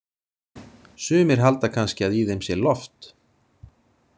Sumir halda kannski að í þeim sé loft.